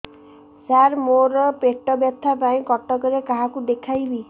ସାର ମୋ ର ପେଟ ବ୍ୟଥା ପାଇଁ କଟକରେ କାହାକୁ ଦେଖେଇବି